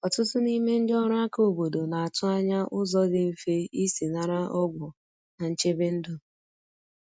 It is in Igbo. Ọtụtụ n’ime ndị ọrụ aka obodo na atụ anya ụzọ dị mfe isi nara ọgwụ na nchebe ndu.